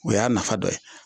O y'a nafa dɔ ye